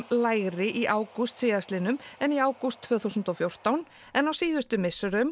lægri í ágúst síðastliðnum en í ágúst tvö þúsund og fjórtán en á síðustu misserum